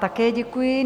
Také děkuji.